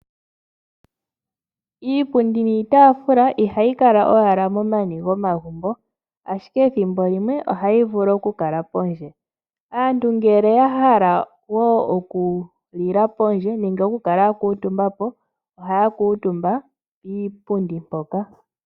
Iipundi niitaafula ihayi kala owala meni lyomagumbo, ashike ethimbo limwe ohayi vulu okukala pondje. Aantu ngele ya hala wo okulila pondje nenge okukala ya kutumba po, ohaya kuutumba piipundi mpoka.